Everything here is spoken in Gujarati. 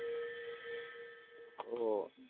ઓ